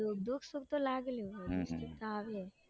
તો દુઃખ સુખ તો લાગેલું હોય